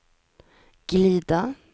glida